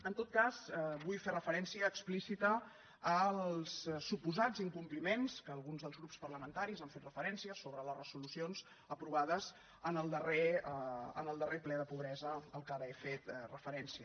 en tot cas vull fer referència explícita als suposats incompliments a què alguns dels grups parlamentaris han fet referència sobre les resolucions aprovades en el darrer ple de pobresa a què ara he fet referència